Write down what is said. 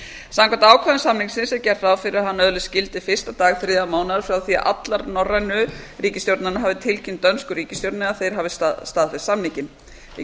samkvæmt ákvæðum samningsins er gert ráð fyrir að hann öðlist gildi fyrsta dag þriðja mánaðar frá því að allar norrænu ríkisstjórnirnar hafa tilkynnt dönsku ríkisstjórninni að þær hafi staðfest samninginn við